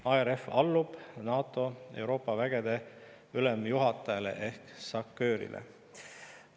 ARF allub NATO Euroopa vägede ülemjuhatajale ehk SACEUR-ile.